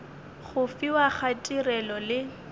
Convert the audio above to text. go fiwa ga tirelo le